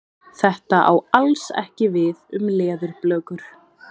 Þetta á alls ekki við um leðurblökur.